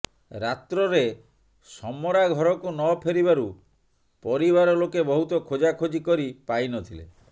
ରାତ୍ରରେ ସମରା ଘରକୁ ନଫେରିବାରୁ ପରିବାର ଲୋକେ ବହୁତ ଖୋଜା ଖଜି କରି ପାଇନଥିଲେ